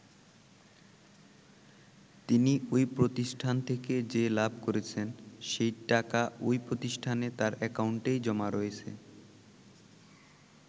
তিনি ওই প্রতিষ্ঠান থেকে যে লাভ করেছেন সেই টাকা ওই প্রতিষ্ঠানে তাঁর একাউন্টেই জমা রয়েছে।